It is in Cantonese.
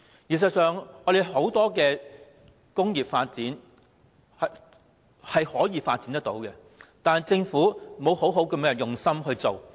事實上，香港確有很多工業可以發展，但政府卻沒有用心去做。